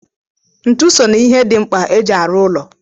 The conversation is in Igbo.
Ntu so na ihe di mkpa e ji arụ ụlọ